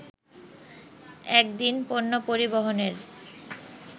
এক দিন পণ্য পরিবহনের